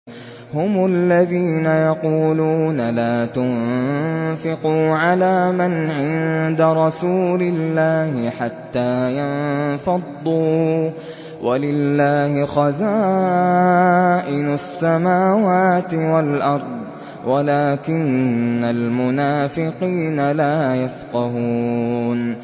هُمُ الَّذِينَ يَقُولُونَ لَا تُنفِقُوا عَلَىٰ مَنْ عِندَ رَسُولِ اللَّهِ حَتَّىٰ يَنفَضُّوا ۗ وَلِلَّهِ خَزَائِنُ السَّمَاوَاتِ وَالْأَرْضِ وَلَٰكِنَّ الْمُنَافِقِينَ لَا يَفْقَهُونَ